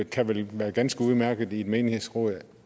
kan vel være ganske udmærket i et menighedsråd